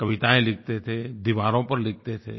कविताएँ लिखते थे दीवारों पर लिखते थे